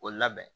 O labɛn